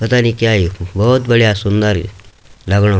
पता नि क्या यखो भौत बढ़िया सुन्दर यु लगणू।